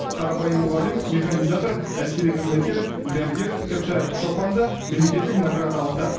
қарапайым мұғалім механизатор әскери қызметкер дәрігер тіпті шопан да мемлекеттік награда алды